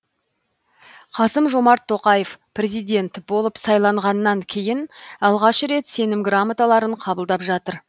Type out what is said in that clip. қасым жомарт тоқаев президент болып сайланғаннан кейін алғаш рет сенім грамоталарын қабылдап жатыр